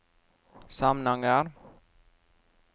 Samnanger